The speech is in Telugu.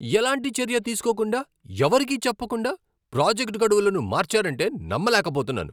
ఎలాంటి చర్య తీసుకోకుండా, ఎవరికీ చెప్పకుండా ప్రాజెక్ట్ గడువులను మార్చారంటే నమ్మలేకపోతున్నాను.